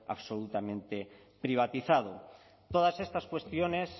absolutamente privatizado todas estas cuestiones